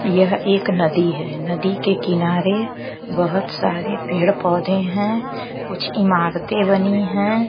यह एक नदी है नदी के किनारे बहुत सारे पेड़ पौधे हैं कुछ इमारतें बनी हैं।